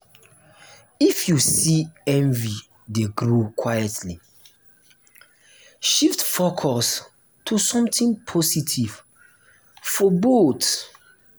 if you see envy dey grow quietly shift focus to something positive for both.